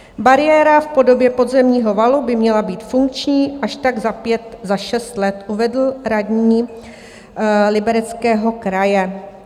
Bariéra v podobě podzemního valu by měla být funkční až tak za pět, za šest let, uvedl radní Libereckého kraje.